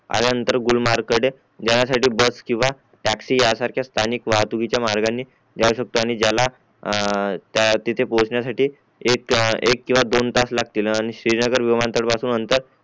आल्यानंतर गुलमर्ग कडे येण्यासाठी बस किंवा टॅक्सी यासारख्या स्थानिक वाहतूतिचा मार्गाने जाऊ शकतो आणि ज्याला ए तिथे पोहोचण्यासाठी एक एक किंवा दोन तास लागतील आणि श्रेनगर विमानतळ पासून अंतर